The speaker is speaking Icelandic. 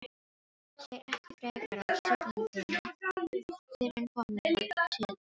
Segir ekki frekar af siglingunni fyrren komið var til Íslands.